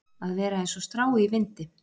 Að vera eins og strá í vindi